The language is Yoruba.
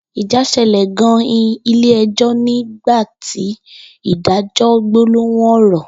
Ija sele gan in ile ejo ni gba ti ìdájọ gbólóhùn oro